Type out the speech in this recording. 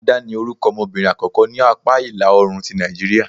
ADA, ni orukọ ọmọbirin akọkọ ni apa ila-oorun ti Nàìjíría..